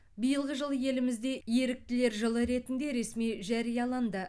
биылғы жыл елімізде еріктілер жылы ретінде ресми жарияланды